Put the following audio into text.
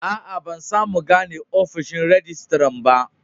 Aa, ban samu gane ofishin rijistiran ba.